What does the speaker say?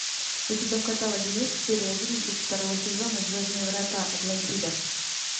у тебя в каталоге есть серия одиннадцать второго сезона звездные врата атлантида